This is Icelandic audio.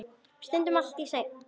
Stundum allt í senn.